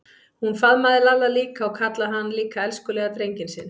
Hún faðmaði Lalla líka og kallaði hann líka elskulega drenginn sinn.